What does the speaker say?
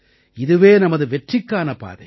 இதுவே நமது வெற்றிக்கான பாதை